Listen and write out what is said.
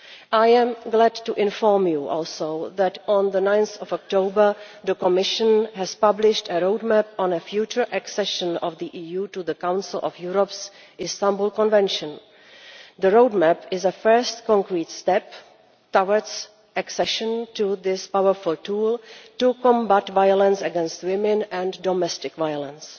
I am glad to inform you also that on 9 October the Commission published a roadmap on future accession of the EU to the Council of Europe's Istanbul Convention. The roadmap is a first concrete step towards accession to this powerful tool to combat violence against women and domestic violence.